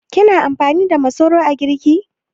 Kina amfani da masoro a girki?